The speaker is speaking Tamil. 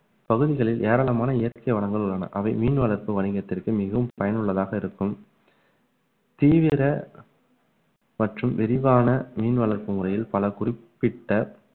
பகுதிகளில் ஏராளமான இயற்கை வளங்கள் உள்ளன அவை மீன் வளர்ப்பு வணிகத்திற்கு மிகவும் பயனுள்ளதாக இருக்கும் தீவிர மற்றும் விரிவான மீன் வளர்ப்பு முறையில் பல குறிப்பிட்ட